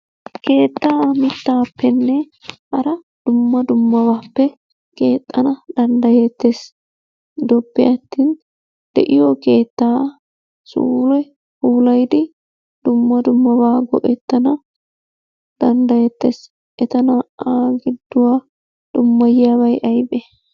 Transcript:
Keettaa mittaappenne hara dumma dummabaappe keexxana danddayeettees. Gidoppe attin de'iyo keettaa suure puulayidi dumma dummabaa go'ttada danddayettees. Eta naa"aa gidduwa dummayiyabay aybee?